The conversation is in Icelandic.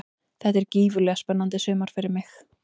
Þetta er gífurlega spennandi sumar fyrir mig.